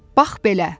Bax belə.